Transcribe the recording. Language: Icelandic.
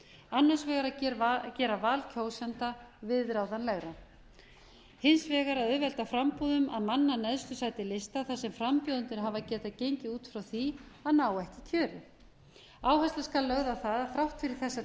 annars vegar að gera val kjósenda viðráðanlegra og hins vegar að auðvelda framboðum að manna neðstu sæti lista þar sem frambjóðendur hafa getað gengið út frá því að ná ekki kjöri áhersla skal lögð á að þrátt fyrir þessa